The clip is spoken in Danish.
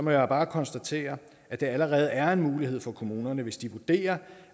jeg bare konstatere at det allerede er en mulighed for kommunerne hvis de vurderer